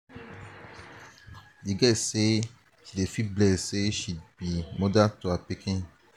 di girl say she dey feel blessed sey she be moda to her pikin.